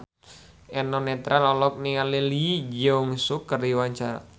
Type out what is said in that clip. Eno Netral olohok ningali Lee Jeong Suk keur diwawancara